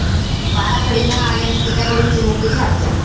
बाराखडी न आल्याने पित्याकडून चिमुकलीची हत्या